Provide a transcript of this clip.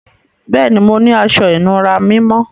Bẹẹni, mò ní àṣọ-ìnúrà mímọ́.